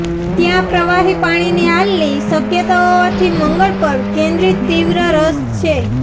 ત્યાં પ્રવાહી પાણીની હાલતની શક્યતા હોવાથી મંગળ પર કેન્દ્રિત તીવ્ર રસ છે